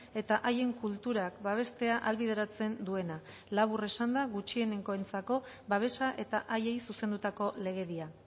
eta haien kulturak babestea ahalbideratzen duena labur esanda gutxienengoentzako babesa eta haiei zuzendutako legedia